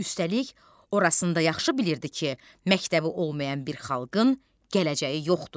Üstəlik, orasın da yaxşı bilirdi ki, məktəbi olmayan bir xalqın gələcəyi yoxdur.